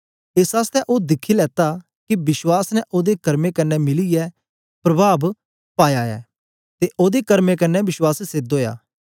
एस आसतै तो दिखी लेता के विश्वास ने ओदे कर्मे कन्ने मिलीयै प्रभाव पादा ऐ ते ओदे कर्मे कन्ने विश्वास सेध ओया